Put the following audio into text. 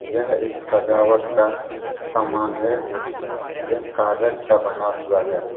यह एक सजावट का समान है जोकि यह कागज का बना हुआ है।